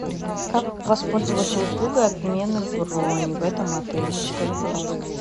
как воспользоваться услугой отмены брони в этом отеле подскажи пожалуйста